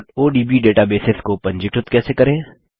odb databases को पंजीकृत कैसे करें